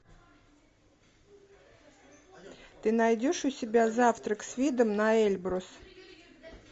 ты найдешь у себя завтрак с видом на эльбрус